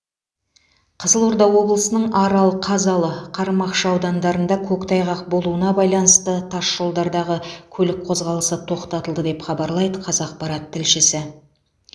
қызылорда облысының арал қазалы қармақшы аудандарында көктайғақ болуына байланысты тасжолдардағы көлік қозғалысы тоқтатылды деп хабарлайды қазақпарат тілшісі